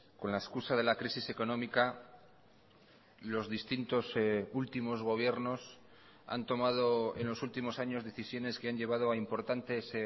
con la excusa de la crisis económica los distintos últimos gobiernos han tomado en los últimos años decisiones que han llevado a importantes